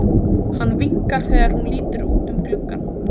Hann vinkar þegar hún lítur út um gluggann.